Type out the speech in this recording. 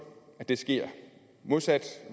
at det sker modsat